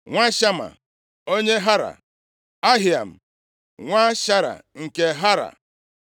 nwa Shama, onye Hara Ahiam, nwa Shara nke Hara,